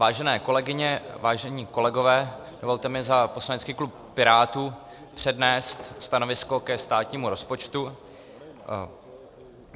Vážené kolegyně, vážení kolegové, dovolte mi za poslanecký klub Pirátů přednést stanovisko ke státnímu rozpočtu.